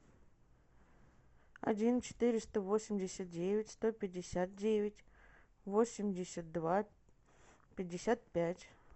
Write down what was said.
один четыреста восемьдесят девять сто пятьдесят девять восемьдесят два пятьдесят пять